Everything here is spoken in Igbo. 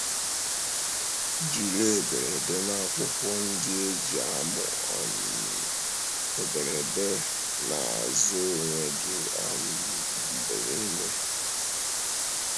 Jírí édèrdè na akwụkwọ ndị e ji àmụ um édèrdè na-azụ onwe gị um mgbe niile. um